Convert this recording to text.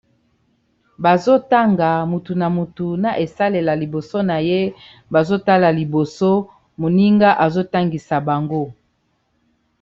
Bazo tanga motu na motu na esalela liboso na ye bazo tala liboso moninga azotangisa bango.